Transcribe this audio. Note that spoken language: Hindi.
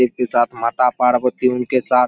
शिव के साथ माता पार्वती उनके साथ --